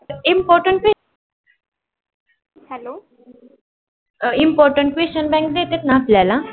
important important question bank देतात न आपल्याला?